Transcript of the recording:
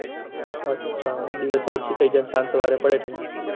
અચ્છા દિવસે ઓછી થઇ જાય સાંજ સવારે પડે ઠંડી